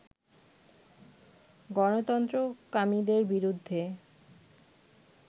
গণতন্ত্রকামীদের বিরুদ্ধে